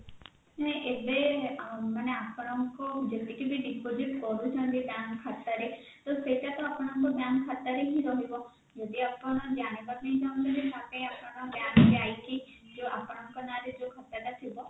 ନାଇଁ ଏବେ ଆପଣଙ୍କୁ ଯେତିକି ବି deposit କରୁଛନ୍ତି bank ଖାତାରେ ତ ସେଇଟା ତ bank ଖାତାରେ ହିଁ ରହିବା ଯଦି ଆପଣ ଜାଣିବା ପାଇଁ ଚାହୁଁଛନ୍ତି ତାହେଲେ ଆପଣ bank ଯାଇକି ଯୋଉ ଆପଣଙ୍କ ନାଁ ରେ ଯୋଉ ଖାତା ଟା ଥିବ